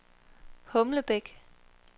Humlebæk